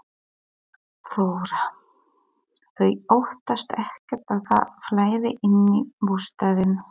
Þóra: Þau óttast ekkert að það flæði inn í bústaðinn?